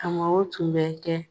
Karamɔgɔ o tun bɛ kɛ.